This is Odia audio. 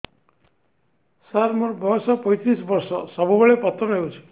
ସାର ମୋର ବୟସ ପୈତିରିଶ ବର୍ଷ ସବୁବେଳେ ପତନ ହେଉଛି